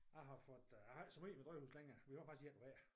Jeg har fået øh jeg har ikke så meget med drivhus længere vi har faktisk ét hver